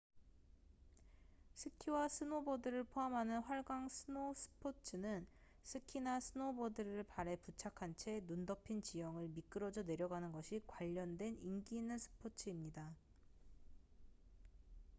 스키와 스노보드를 포함하는 활강 스노 스포츠는 스키나 스노보드를 발에 부착한 채 눈 덮인 지형을 미끄러져 내려가는 것이 관련된 인기 있는 스포츠입니다